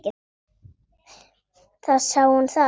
Þá sá hún það.